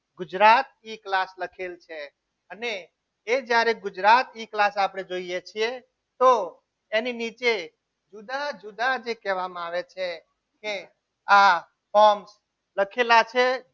ગુજરાત ઈ class લખેલ છે અને એ જ્યારે ગુજરાત એક class આપણે જોઈએ છીએ તો એની નીચે જુદા જુદા જે કહેવામાં આવે છે એ આ pump લખેલા છે.